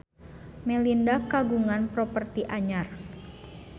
Melinda kagungan properti anyar